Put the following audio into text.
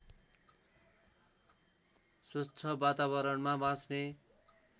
स्वच्छ वातारणमा बाँच्ने